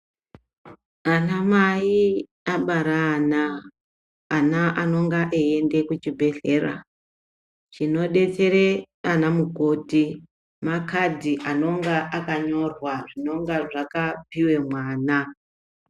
Anamai abara ana ana anonga eienda kuchibhehlera chinodetsere ana mukoti makadhi anenge akanyorwa zvinenge zvakapiwe mwana .